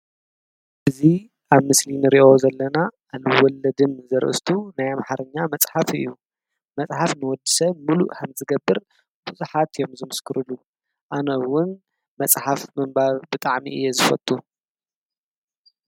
እዚ ኣብ ምስሊ እንርእዮ ዘለና ኣልወለድም ዘርእስቱ ናይ ኣምሓርኛ መፅሓፍ እዩ። መፅሓፍ ንወዲ ሰብ ሙሉእ ከም ዝገበር ብዙሓት አዮም ዝምስክርሉ። ኣነ እውን መፅሓፍ ምንባብ ብጣዕሚ እየ ዝፈቱ።